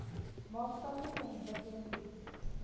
maatskaplike ontwikkeling bied